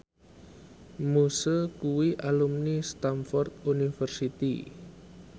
Muse kuwi alumni Stamford University